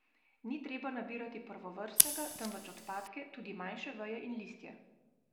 Ni treba nabirati prvovrstnega, temveč odpadke, tudi manjše veje in listje.